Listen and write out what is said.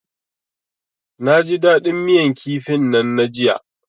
Naji dadin miyan kifin nan na jiya.